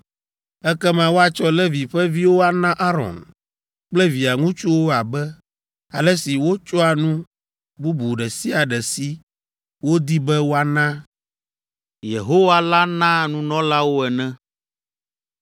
Ekema woatsɔ Levi ƒe viwo ana Aron kple via ŋutsuwo abe ale si wotsɔa nu bubu ɖe sia ɖe si wodi be woana Yehowa la naa nunɔlawo ene!